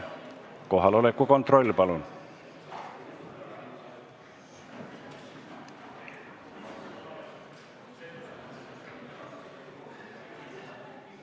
Kohaloleku kontroll, palun!